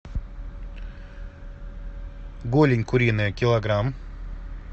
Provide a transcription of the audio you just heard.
голень куриная килограмм